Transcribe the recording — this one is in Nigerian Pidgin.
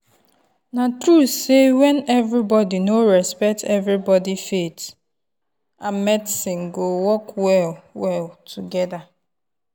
na true sey when everybody no respect everybody faith and medicine go work well-well together.